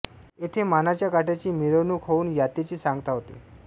येथे मानाच्या काठ्यांची मिरवणूक होऊन यातेची सांगता होते